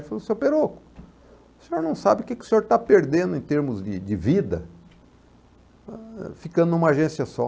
E ele falou, seu Peroco, o senhor não sabe o que que o senhor está perdendo em termos de de vida, ah, ficando numa agência só.